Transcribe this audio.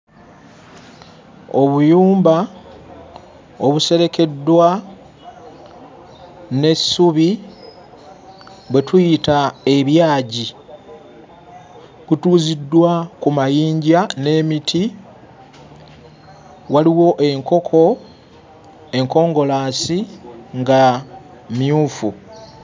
Obuyumba obuserekeddwa n'essubi, bwe tuyita ebyagi kutuuziddwa ku mayinja n'emiti. Waliwo enkoko enkongolaasi nga mmyufu.